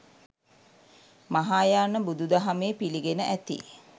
මහායාන බුදුදහමේ පිළිගෙන ඇති